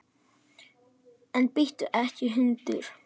En bíttu ekki, hundur!